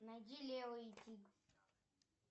найди лео и тиг